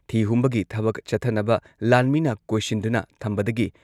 ꯊꯤ ꯍꯨꯝꯕꯒꯤ ꯊꯕꯛ ꯆꯠꯊꯅꯕ ꯂꯥꯟꯃꯤꯅ ꯀꯣꯏꯁꯤꯟꯗꯨꯅ ꯊꯝꯕꯗꯒꯤ